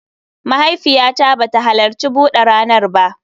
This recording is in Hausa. Mahaifiyata ba ta halarci bude ranar ba